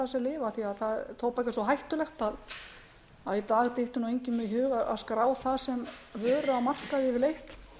það sem lyf af því tóbak er svo hættulegt að í dag dytti engum í hug að skrá það sem vöru á markaði yfirleitt